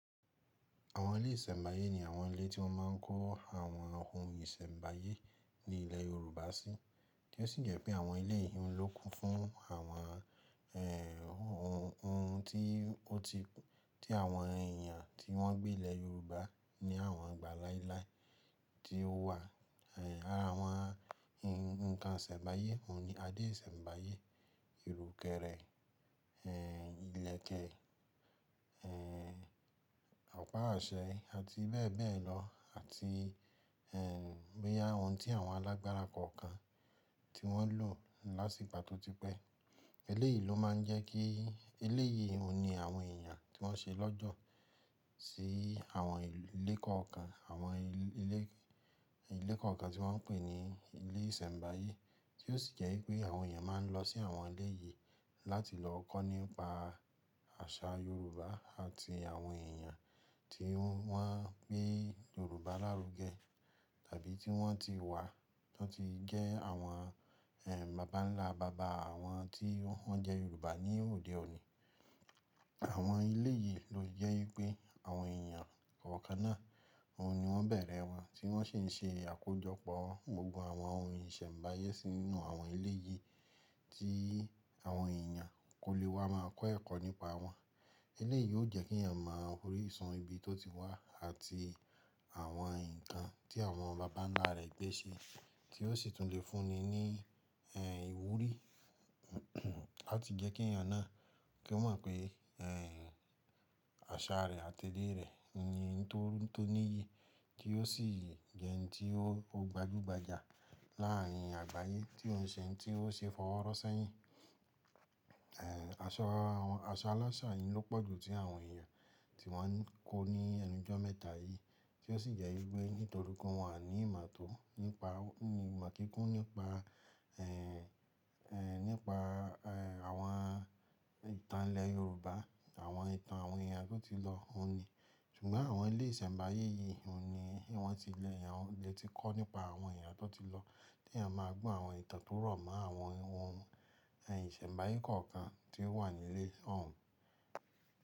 Àwọn ilé ìsẹ̀mbáyé ní àwọn ilé tí wọ́n máa ń kó àwọn ohun ìsẹ̀mbáyé ní ilẹ̀ Yorùbá sí, tí ó sì jẹ́ pé àwọn ilé yi ohun ló kún fún àwọn, ohun, ohun tí ó ti, tí àwọn èèyàn tí wọ́n gbé ilẹ̀ Yorùbá ní àwọn ìgbà láíláí tí ó wà. Ara wọn, ǹkan ìsẹ̀mbáyé òhun ni adé ìsẹ̀mbáyé, ìrùkẹ̀rẹ̀, ilẹ̀kẹ̀, ọ̀pá àṣẹ àti bebelo, àti bóyá ohun tí àwọn alágbára kankan tí wọ́n lò láti ìgbà tó ti pẹ́. Eléyìí ló máa ń jẹ́ kí eléyìí òhun ni àwọn èèyàn tí wọ́n ṣe lọ́jọ́ sí àwọn ilé kankan, àwọn ilé, ilé kankan tí wọ́n pè ní ilé ìsẹ̀mbáyé tí ó sì jẹ́ wípé àwọn èyàn máa ń lọ sí ilé yìí láti lọ kọ́ nípa àṣà Yorùbá àti àwọn èèyàn tí wọ́n gbé Yorùbá lárugẹ tàbí tí wọ́n ti wà, tí wọ́n ti jẹ́ àwọn, bàbá nlá bàbá àwọn tí wọ́n jẹ́ Yorùbá ní òde òní. Àwọn ilé yìí ló jẹ́ wípé àwọn èèyàn kọ̀ọ̀kan náà, òhun ni wọ́n bẹ̀rẹ̀ wọn tí wọ́n sì ń ṣe àkójọpọ̀ gbogbo àwọn ohun ìsẹ̀mbáyé sínú àwọn ilé yìí tí àwọn èèyàn kò lè wá máa kọ́ ẹ̀kọ́ nípa wọn. Eléyìí yó jẹ́ kí èèyàn máa orísun ibi tó ti wá àti àwọn nǹkan tí àwọn bàbánlá rẹ̀ gbé ṣe, tí ó sì tún lè fúnni ní, ìwúrí, làti jẹ́ kí èèyàn náà kí ó mọ̀ pé, àṣà rẹ̀ àti èdè rẹ̀ ni ohun tó níyi tí ó sì jẹ́ ẹni tí ó gbajúgbajà láárín àgbáyé tí òun ṣe, tí ó ṣe fọwọ́ rọ́ sẹ́yìn. Aṣọ, aṣọ aláṣà yìí ló pọ̀jù tí àwọn èèyàn tí wọ́n ń kó ní ẹnujọ́ mẹ́ta yìí, tí ó sì jẹ́ wípé nítorí pé wọ́n ní ìmọ̀ tó nípa, ìmọ̀ kíkún nípa nípa àwọn ìtàn ilẹ̀ yorùbá, àwọn ìtàn àwọn èyàn tó ti lọ. Ṣùgbọ́n àwọn ilé ìsẹ̀mbáyé yìí, òhun ni wọ́n ti lè, wọ́n lè tí kọ́ nípa àwọn èèyàn tó ti lọ, tí èèyàn máa gbọ́ àwọn ìtàn tó rọ̀ mọ́ àwọn ohun, ìsẹ̀mbáyé kọ̀ọ̀kan tí ó wà nílé tòun.